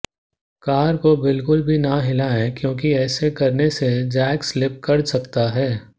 car को बिल्कुल भी ना हिलाएं क्योंकि ऐसे करने से जैक स्लिप कर सकता है